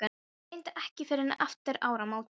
Reyndar ekki fyrr en eftir áramót.